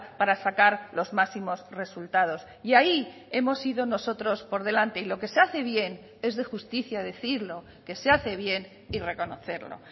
para sacar los máximos resultados y ahí hemos sido nosotros por delante y lo que se hace bien es de justicia decirlo que se hace bien y reconocerlo